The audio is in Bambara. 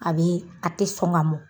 A bee a te sɔn ŋa mɔ.